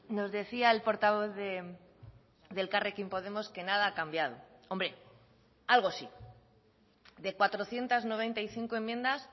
nos decía el portavoz de elkarrekin podemos que nada ha cambiado hombre algo sí de cuatrocientos noventa y cinco enmiendas